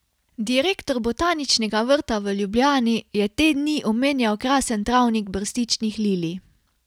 Direktor Botaničnega vrta v Ljubljani je te dni omenjal krasen travnik brstičnih lilij.